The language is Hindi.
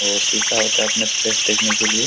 और शीशा होता है अपने फेस देखने के लिए।